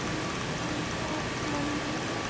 यह फूल का मंडी है।